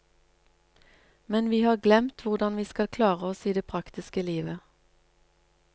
Men vi har glemt hvordan vi skal klare oss i det praktiske livet.